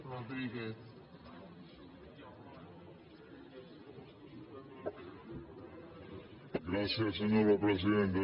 gràcies senyora presidenta